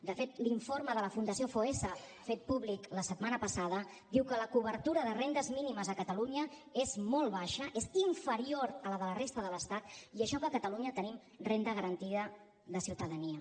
de fet l’informe de la fundació foessa fet públic la setmana passada diu que la cobertura de rendes mínimes a catalunya és molt baixa és inferior a la de la resta de l’estat i això que a catalunya tenim renda garantida de ciutadania